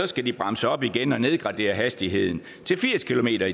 skal de bremse op igen og nedgradere hastigheden til firs kilometer